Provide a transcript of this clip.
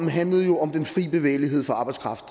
handlede jo om den fri bevægelighed for arbejdskraft